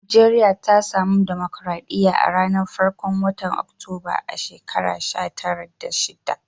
Nijeriya ta samu dimokuradiyya a'ranan farkon wotan Oktoba a'shekara sha tara da sitin.